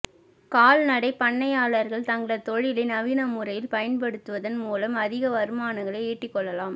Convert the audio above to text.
கால் நடை பண்ணையாளர்கள் தங்களது தொழிலை நவீன முறையில் பயன்படுத்துவதன் மூலம் அதிக வருமானங்களை ஈட்டிக் கொள்ளலாம்